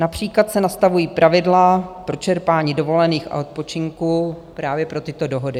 Například se nastavují pravidla pro čerpání dovolených a odpočinku právě pro tyto dohody.